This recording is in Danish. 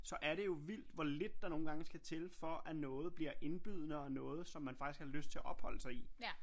Så er det jo vildt hvor lidt der nogle gange skal til for at noget bliver indbydende og noget som man faktisk har lyst til at opholde sig i